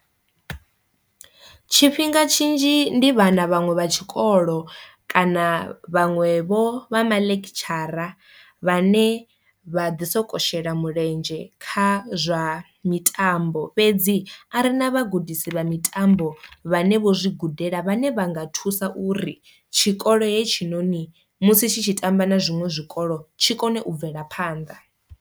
Tshifhinga tshinzhi ndi vhana vhaṅwe vha tshikolo kana vhaṅwe vho vha mulekhitshara vhane vha ḓi soko shela mulenzhe kha zwa mitambo fhedzi a ri na vhagudisi vha mitambo vhane vho zwi gudela vhane vha nga thusa uri tshikolo he tshinoni musi tshi tshi tamba na zwiṅwe zwikolo tshi kone u bvela phanḓa.